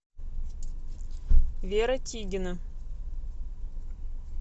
вера тигина